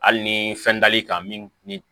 Hali ni fɛn dali kan min